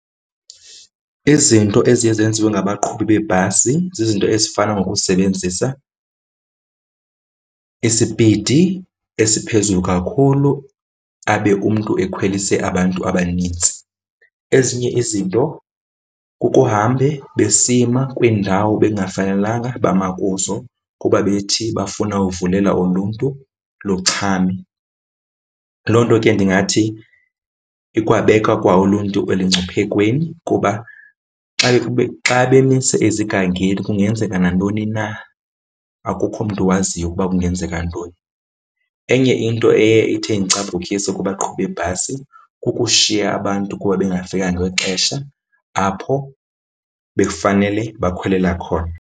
Izinto eziye zenziwe ngabaqhubi beebhasi zizinto ezifana nokusebenzisa isipidi esiphezulu kakhulu abe umntu ekhwelise abantu abanintsi. Ezinye izinto kukuhambe besima kwiindawo bekungafanelanga bama kuzo kuba bethi bafuna ukuvulela uluntu luchame. Loo nto ke ndingathi ikwaba beka kwa uluntu elungciphekweni kuba xa xa bemise ezigangeni kungenzeka nantoni na, akukho mntu owaziyo ukuba kungenzeka ntoni. Enye into eye ithi indicaphukise kubaqhubi beebhasi kukushiya abantu kuba bengafiki ngexesha apho bekufanele bakhwelela khona.